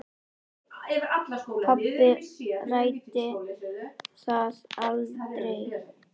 Pabbi ræddi það aldrei.